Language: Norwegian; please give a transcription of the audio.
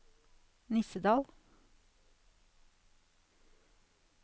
Nissedal